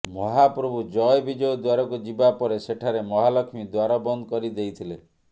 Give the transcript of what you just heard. ମହାପ୍ରଭୁ ଜୟ ବିଜୟ ଦ୍ୱାରକୁ ଯିବା ପରେ ସେଠାରେ ମହାଲକ୍ଷ୍ମୀ ଦ୍ୱାର ବନ୍ଦ କରି ଦେଇଥିଲେ